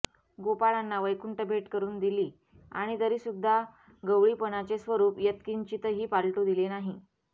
गोपाळांना वैकुंठभेट करून दिली आणि तरीसुद्धा गवळीपणाचे स्वरूप यत्किंचितही पालटू दिले नाही